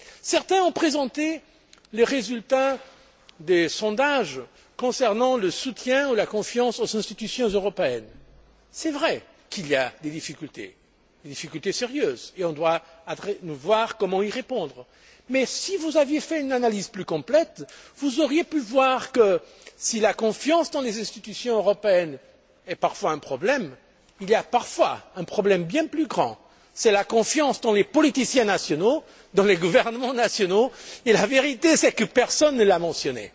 Certains ont présenté les résultats des sondages concernant le soutien ou la confiance aux institutions européennes. C'est vrai qu'il y a des difficultés, des difficultés sérieuses, auxquelles il convient de répondre. Mais si vous aviez fait une analyse plus complète, vous auriez pu observer que si la confiance dans les institutions européennes pose parfois problème, il existe parfois un problème bien plus grand, celui de la confiance accordée aux politiciens nationaux, aux gouvernements nationaux et la vérité c'est que personne ne l'a mentionné.